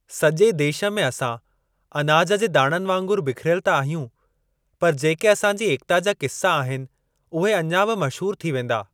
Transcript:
सॼे देश में असां अनाज जे दाणनि वांगुरु बिखरियल त आहियूं पर जेके असां जी एकता जा किस्सा आहिनि उहे अञा बि मशहूर थी वेंदा।